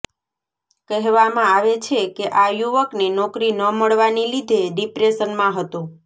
કહેવામાં આવે છે કે આ યુવકને નોકરી ન મળવાની લીધે ડિપ્રેશનમાં હતો